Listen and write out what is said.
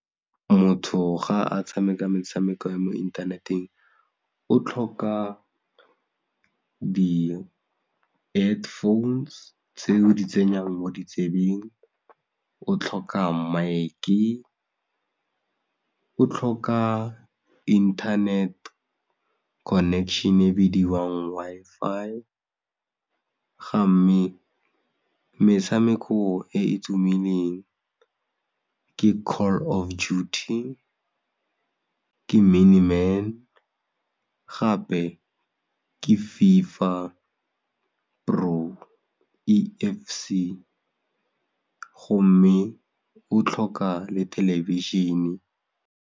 Motho ga a tshameka metshameko ya mo inthaneteng o tlhoka di head phones tse o di tsenyang mo ditsebeng, o tlhoka mic-e, o tlhoka internet connection e bidiwang Wi-Fi gamme metshameko e e tumileng ke Call of Duty, ke Mini man gape ke FIFA Pro, E_f_C gomme o tlhoka le thelebišene.